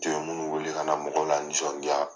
jɔn k'u wele ka na mɔgɔw lanisɔndiya.